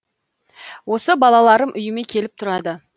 осы балаларым үйіме келіп тұрады